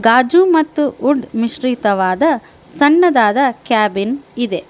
ದಾಜು ಮತ್ತು ವುಡ ಮಿಶ್ರಿತವಾದ ಸಣ್ಣದಾದ ಕ್ಯಾಬಿನ್ ಇದೆ.